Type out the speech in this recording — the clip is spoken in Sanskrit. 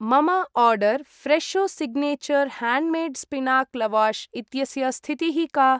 मम order Fresho signature handmade spinach lavash इत्यस्य स्थितिः का?